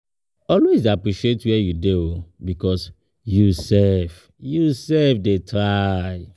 Always de appreciate where you dey oh because you self you self de try